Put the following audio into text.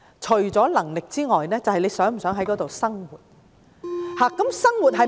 "除能力外，便是他們是否想在當地生活。